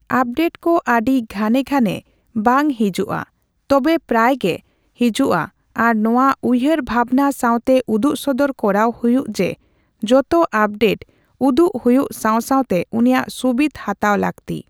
Update ᱠᱚ ᱟᱹᱰᱤ ᱜᱷᱟᱱᱮ ᱜᱷᱟᱱᱮ ᱵᱟᱝ ᱦᱮᱡᱩᱜᱼᱟ, ᱛᱚᱵᱮ ᱯᱨᱟᱭ ᱜᱮ ᱦᱮᱡᱩᱜᱼᱟ ᱟᱨ ᱱᱚᱣᱟ ᱩᱭᱦᱟᱹᱨ ᱵᱷᱟᱵᱱᱟ ᱥᱟᱣᱛᱮ ᱩᱫᱩᱜᱥᱚᱫᱚᱨ ᱠᱚᱨᱟᱣ ᱦᱩᱭᱩᱜ ᱡᱮ ᱡᱚᱛᱚ ᱟᱯᱰᱮᱴ ᱩᱰᱩᱜ ᱦᱩᱭᱩᱜ ᱥᱟᱣ ᱥᱟᱣᱛᱮ ᱩᱱᱤᱭᱟᱜ ᱥᱩᱵᱤᱫᱷ ᱦᱟᱛᱟᱣ ᱞᱟᱹᱠᱛᱤ ᱾